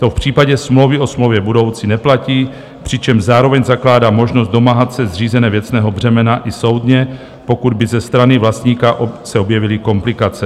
To v případě smlouvy o smlouvě budoucí neplatí, přičemž zároveň zakládá možnost domáhat se zřízení věcného břemena i soudně, pokud by ze strany vlastníka se objevily komplikace.